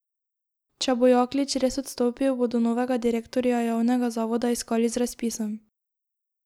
Če bo Jaklič res odstopil, bodo novega direktorja javnega zavoda iskali z razpisom.